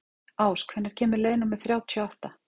Ás, hvenær kemur leið númer þrjátíu og átta?